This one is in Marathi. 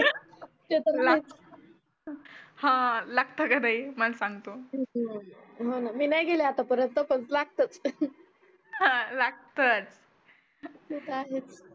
हा लागता का ताई मग सांगतो मी नाही गेले आतापर्यंत पण लागतं हा लागत ते त आहेच